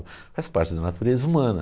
Faz parte da natureza humana.